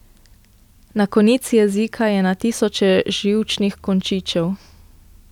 Na konici jezika je na tisoče živčnih končičev.